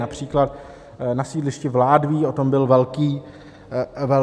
Například na sídlišti v Ládví o tom byl velký spor.